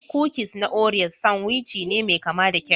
Kukis na Oreas sanwici ne mai kama da kek